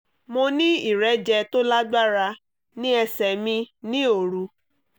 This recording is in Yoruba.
mo ní ìrẹ́jẹ tó lágbára ní ẹsẹ̀ mi ní òru